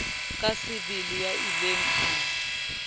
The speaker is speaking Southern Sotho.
ka sebele ya ileng a